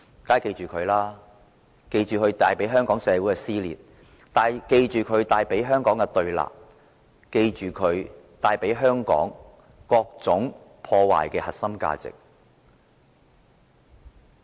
我們要記着他帶給香港社會的撕裂和對立，記着他破壞了香港各種核心價值。